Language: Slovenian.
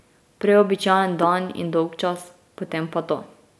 Prej običajen dan in dolgčas, potem pa to.